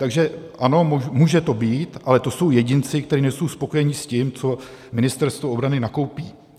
Takže ano, může to být, ale to jsou jedinci, kteří nejsou spokojení s tím, co Ministerstvo obrany nakoupí.